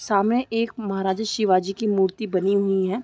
सामने एक महराजा शिवाजी की मूर्ति बनी हुई हैं।